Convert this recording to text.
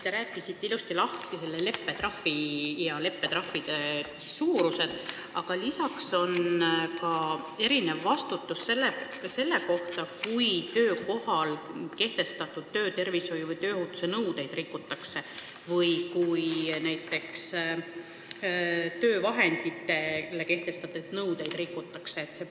Ta rääkisite ilusasti lahti leppetrahvi ja selle suuruse, aga erinev on ka vastutus selle eest, kui rikutakse töökohal kehtestatud töötervishoiu või tööohutuse nõudeid või näiteks töövahenditele kehtestatud nõudeid.